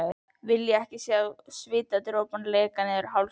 Vilja ekki sjá svitadropana leka niður hálsinn.